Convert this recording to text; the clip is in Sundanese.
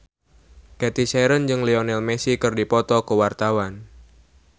Cathy Sharon jeung Lionel Messi keur dipoto ku wartawan